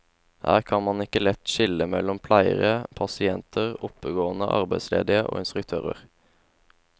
Her kan man ikke lett skille mellom pleiere, pasienter, oppegående arbeidsledige og instruktører.